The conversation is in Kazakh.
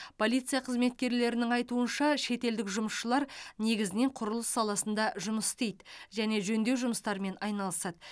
полиция қызметкерлерінің айтуынша шетелдік жұмысшылар негізінен құрылыс саласында жұмыс істейді және жөндеу жұмыстарымен айналысады